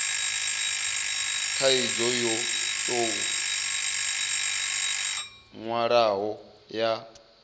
khaidzo yo tou nwalwaho ya